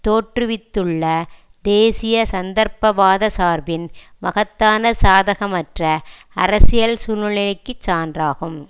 தோற்றுவித்துள்ள தேசியசந்தர்ப்பவாத சார்பின் மகத்தான சாதகமற்ற அரசியல் சூழ்நிலைக்கு சான்றாகும்